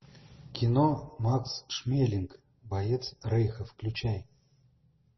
кино макс шмелинг боец рейха включай